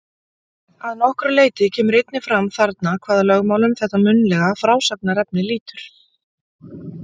Að nokkru leyti kemur einnig fram þarna hvaða lögmálum þetta munnlega frásagnarefni lýtur.